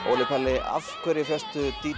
Óli Palli af hverju fékkstu